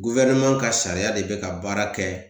Guwɛrineman ka sariya de be ka baara kɛ